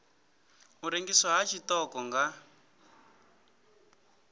u rengiswa ha tshiṱoko nga